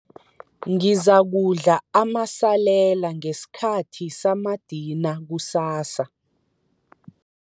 Ngizakudla amasalela ngesikhathi samadina kusasa.